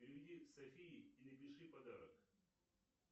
переведи софии и напиши подарок